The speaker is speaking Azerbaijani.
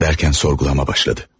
Dərkən sorğulama başladı.